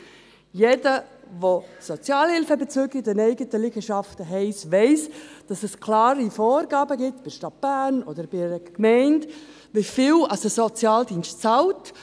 Jeder, welcher Sozialhilfebezüger in den eigenen Liegenschaften hat, weiss, dass es klare Vorgaben gibt, sei es in der Stadt Bern oder in anderen Gemeinden, wie viel der Sozialdienst bezahlt.